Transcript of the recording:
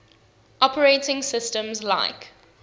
operating systems like